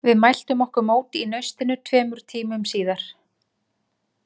Við mæltum okkur mót í Naustinu tveimur tímum síðar.